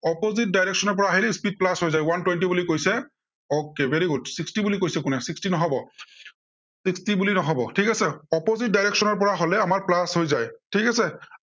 opposite direction ৰ পৰা আহিলে আমাৰ speed plus হৈ যায়। okay, very good. sixty বুলি কৈছে, কোনে sixty নহব। sixty বুলি নহব, ঠিক আছে। opposite direction ৰ পৰা হলে আমাৰ plus হৈ যায়, ঠিক আছে।